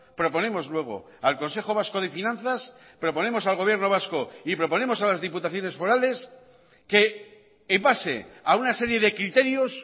proponemos luego al consejo vasco de finanzas proponemos al gobierno vasco y proponemos a las diputaciones forales que en base a una serie de criterios